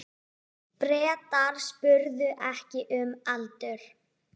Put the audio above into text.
Bretar spurðu ekki um aldur.